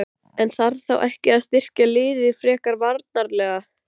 En þarf þá ekki að styrkja liðið frekar varnarlega?